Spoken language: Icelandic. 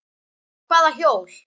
Hvaða hjól?